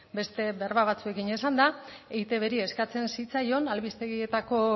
beste berba batzuekin esanda eitbri eskatzen zitzaion albistegietako